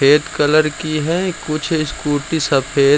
red colour की है कुछ स्कूटी सफ़ेद --